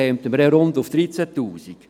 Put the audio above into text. Damit kämen wir auf rund 13 000.